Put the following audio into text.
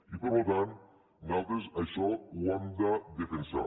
i per tant nosaltres això ho hem de defensar